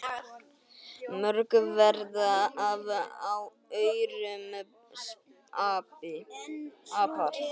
Mörg verða af aurum apar.